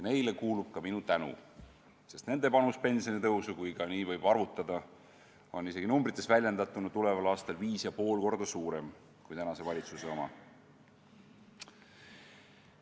Neile kuulub ka minu tänu, sest nende panus pensionitõusu, kui nii võib arvutada, on isegi numbrites väljendatuna tuleval aastal viis ja pool korda suurem kui tänase valitsuse oma.